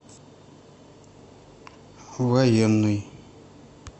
военный